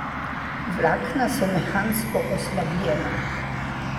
Vlakna so mehansko oslabljena.